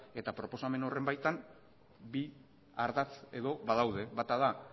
eta proposamen horren baitan bi ardatz edo badaude bata da